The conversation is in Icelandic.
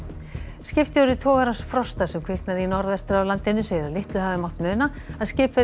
skipstjóri togarans Frosta sem kviknaði í norðvestur af landinu segir að litlu hafi mátt muna að skipverjar